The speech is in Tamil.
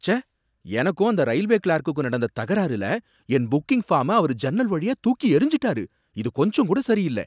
ச்சே! எனக்கும் அந்த ரயில்வே கிளார்குக்கும் நடந்த தகராறுல என் புக்கிங் ஃபார்ம அவரு ஜன்னல் வழியா தூக்கி எறிஞ்சுட்டாரு, இது கொஞ்சங்கூட சரியில்ல.